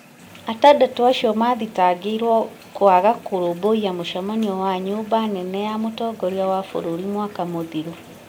Atandatũ acio mathitangĩirũo kũaga kũrũmbuiya mũcemanio wa nyumba nene ya mũtongoria wa bũrũri mwaka mũthiru ,